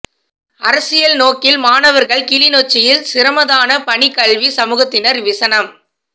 அரசியல் நோக்கில் மாணவர்கள் கிளிநொச்சியில் சிரமதானப் பணி கல்விச் சமூகத்தினர் விசனம்